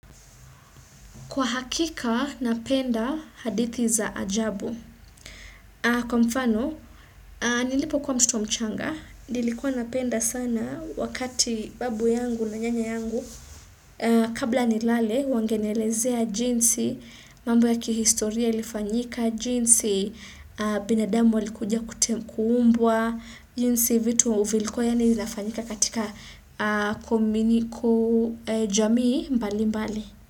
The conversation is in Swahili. Kwa hakika, napenda hadithi za ajabu. Kwa mfano, nilipokuwa mtoto mchanga, nilikuwa napenda sana wakati babu yangu na nyanya yangu. Kabla nilale, wangenielezea jinsi, mambo ya kihistoria ilifanyika, jinsi, binadamu alikujia kute kuumbwa, jinsi vitu vilikuwa yaani inafanyika katika kuminiku jamii mbalimbali.